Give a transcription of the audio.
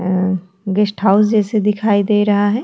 अ guest house जैसे दिखाई दे रहा है।